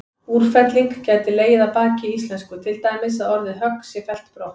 Úrfelling gæti legið að baki í íslensku, til dæmis að orðið högg sé fellt brott.